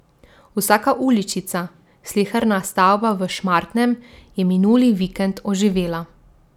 Vsaka uličica, sleherna stavba v Šmartnem je minuli vikend oživela.